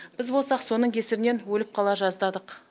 біз болсақ соның кесірінен өліп қала жаздадық